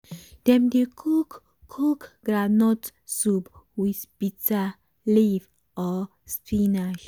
dem dey cook cook groundnut soup with bitter leaf or spinach